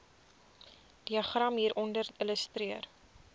diagram hieronder illustreer